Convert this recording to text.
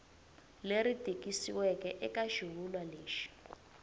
leri tikisiweke eka xivulwa lexi